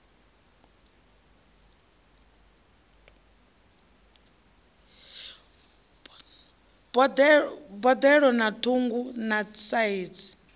boḓelo na ṱhungu na saizi